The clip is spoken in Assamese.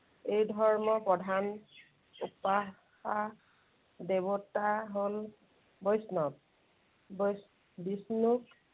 এই ধৰ্মৰ প্ৰধান, উপাসা দেৱতা হল বৈষ্ণৱ। বৈ~ বিষ্ণু